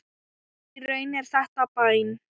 Í raun er þetta bæn.